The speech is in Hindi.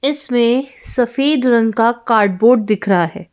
इसमें सफेद रंग का कार्डबोर्ड दिख रहा है।